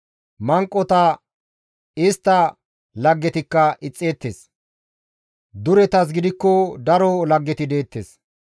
Manqota istta laggetikka ixxeettes; duretas gidikko daro laggeti deettes.